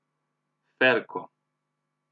Ferko.